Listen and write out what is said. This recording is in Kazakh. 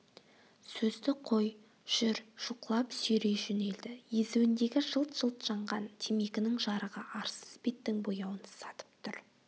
сөзді қой жүр жұлқылап сүйрей жөнелді езуіндегі жылт-жылт жанған темекінің жарығы арсыз беттің бояуын сатып тұр